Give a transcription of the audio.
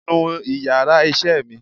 nú íyarà iṣẹ mí!